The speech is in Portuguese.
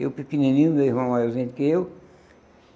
Eu pequenininho, meu irmão maiorzinho do que eu.